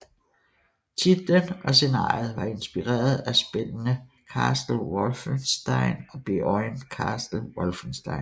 Titlen og scenariet var inspireret af spillene Castle Wolfenstein og Beyond Castle Wolfenstein